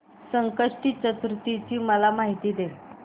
संकष्टी चतुर्थी ची मला माहिती दे